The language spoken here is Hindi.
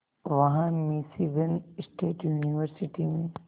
वहां मिशीगन स्टेट यूनिवर्सिटी में